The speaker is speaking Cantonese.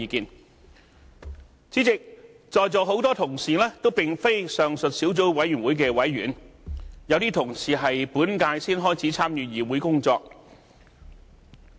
代理主席，在座很多同事也並非上述小組委員會的委員，有些同事在本屆才開始參與議會工作。